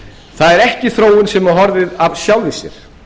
það er ekki þróun sem hefur horfið af sjálfu sér